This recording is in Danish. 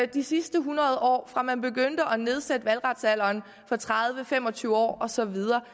de sidste hundrede år lige fra man begyndte at nedsætte valgretsalderen fra tredive til fem og tyve år og så videre